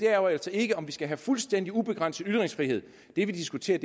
er jo altså ikke om vi skal have fuldstændig ubegrænset ytringsfrihed det vi diskuterer